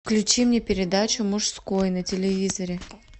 включи мне передачу мужское на телевизоре